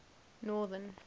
northern